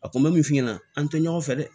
A kun bɛ min f'i ɲɛna an tɛ ɲɔgɔn fɛ dɛ